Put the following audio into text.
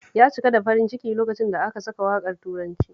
Ya cika da farin ciki lokacin da aka saka waƙar turancin